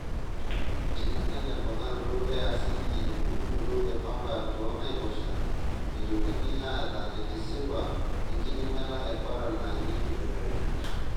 Teneinyal emponaroto e asidi embulunoto e pamba toonaiposha, meitokini aata entisipa enkidimata e koral naanyie nkibelekenyat.